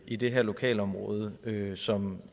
i det her lokalområde som